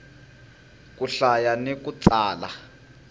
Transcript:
ku hlaya ni ku tsala